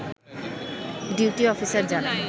duty officer জানান